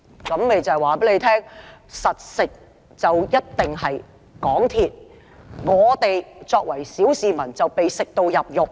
"這便是告訴大家，穩賺的一定是港鐵公司；我們作為小市民，只會被"食到入肉"。